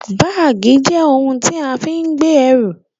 Báàgì jẹ́ ohun tí a fi ń gbé ẹrù